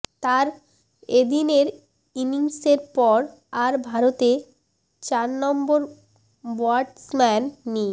তাঁর এদিনের ইনিংসের পর আর ভারতের চার নম্বর ব্য়াটসম্যান নি